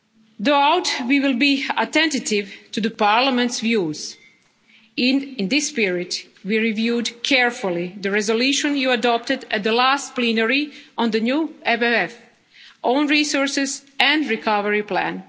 from technology. Throughout, we will be attentive to the Parliament's views. In this spirit, we reviewed carefully the resolution you adopted at the last plenary on the new MFF, own resources